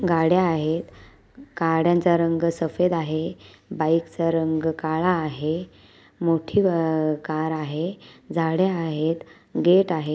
गाड्या आहेत गाड्यांचा रंग सफेद आहे बाईकचा रंग काळा आहे मोठी व कार आहे झाडे आहेत गेट आहे.